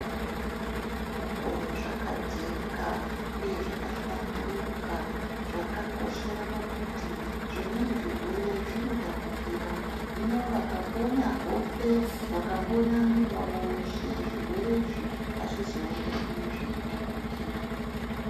Mukoo zvakajeka uye zvakahlamburuka zvakakoshera pakuti zvimweni zvirwere zvinotapukira hino vakambonya hope vakambonya muwiri wavo weshe zvirwere izvi hazvizouyi zveitapukira.